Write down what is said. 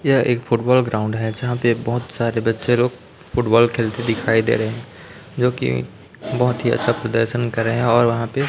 यह एक football ground है जहां प बहुत सारे बच्चे लोग फुटबॉल खेलते दिखाई दे रहे हैं जो की बहुत ही अच्छा प्रदर्शन करें और वहां पे--